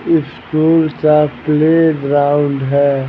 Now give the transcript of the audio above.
School सा playground है।